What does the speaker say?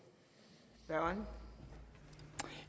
svar